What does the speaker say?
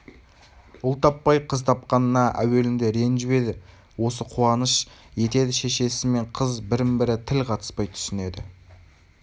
ұл таппай қыз тапқанына әуелінде ренжіп еді осы қуаныш етеді шешесі мен қыз бірін бірі тіл қатыспай түсінеді